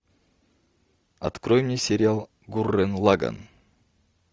открой мне сериал гуррен лаганн